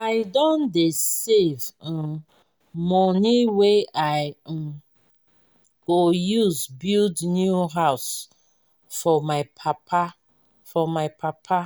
i don dey save um moni wey i um go use build new house for my papa. for my papa.